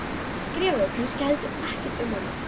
Skrifaðirðu kannski heldur ekkert um hana?